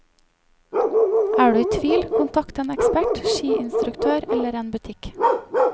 Er du i tvil, kontakt en ekspert, skiinstruktør eller en butikk.